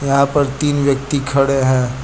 यहां पर तीन व्यक्ति खड़े है।